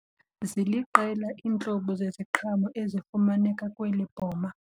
Ziliqela iintlobo zeziqhamo ezifumaneka kweli bhoma.